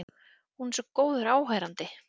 Hún er svo góður áheyrandi.